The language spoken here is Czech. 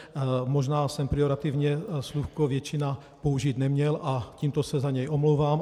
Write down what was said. Možná jsem pejorativně slůvko většina použít neměl a tímto se za něj omlouvám.